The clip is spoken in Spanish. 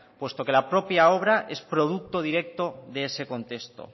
puesto que la propia obra es producto directo de ese contexto